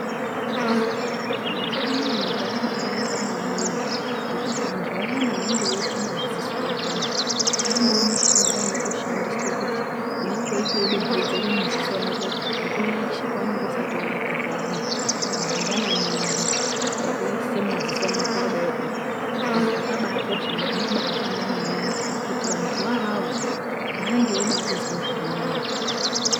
Mazuwanaya nyika yabaanaka maningi ngekuti vantu vayana vanenge veizwe madziso vayana kwaanewo mishonga inotoshandiswa kuti unenge weitoidondedzera mudziso rako nguwa yeshe paunonga usati waata payana. Kana mangwanani ayana wotoisa mudziso mwako kudayio ende zvakabaakosha ende zvinobaashanda maningi ngokuti vantuwo avavo vanenge veibatozwa zvirinani.